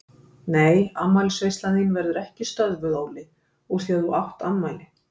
Nei afmælisveislan þín verður ekki stöðvuð Óli úr því að þú átt afmæli.